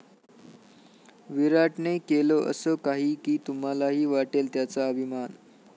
विराटने केलं असं काही की तुम्हालाही वाटेल त्याचा अभिमान!